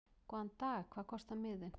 Góðan dag. Hvað kostar miðinn?